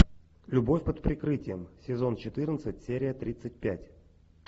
любовь под прикрытием сезон четырнадцать серия тридцать пять